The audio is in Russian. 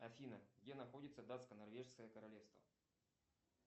афина где находится датско норвежское королевство